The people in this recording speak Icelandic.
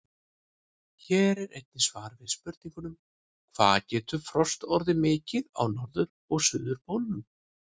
Hér er einnig svar við spurningunum: Hvað getur frost orðið mikið á norður- og suðurpólnum?